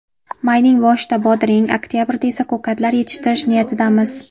Mayning boshida bodring, oktabrda esa ko‘katlar yetishtirish niyatidamiz.